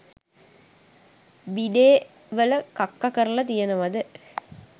බිඩේ වල කක්ක කරල තියෙනවද.